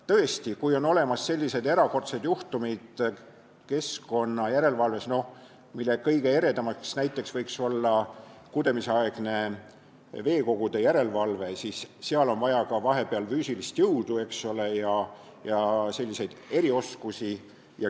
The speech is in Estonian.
Tõesti, keskkonnajärelevalves on erakordseid juhtumeid, mille kõige eredam näide võiks olla kudemisaegne veekogude järelevalve, kus on vaja ka füüsilist jõudu ja erioskusi.